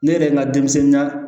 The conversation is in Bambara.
Ne yɛrɛ ye n ka denmisɛnninya